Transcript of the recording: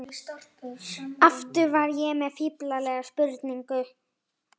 Aftur var ég með fíflalega spurningu.